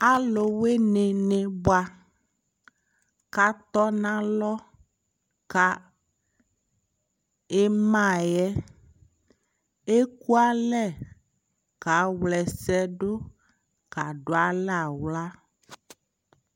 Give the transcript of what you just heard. Alu wini bua katɔ na lɔ ka ima yɛ ɛkua lɛ ka wlɛ sɛ duka du alɛ aɣla